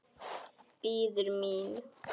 Bíður mín.